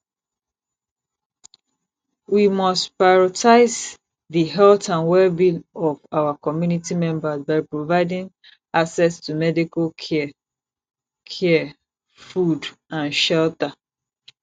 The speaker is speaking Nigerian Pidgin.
we must prioritize di health and wellbeing of our community members by providing access to medical care care food and shelter